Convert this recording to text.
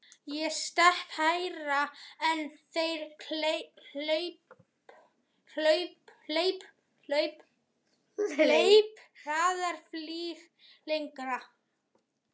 Ég stekk hærra en þeir, hleyp hraðar, flýg lengra.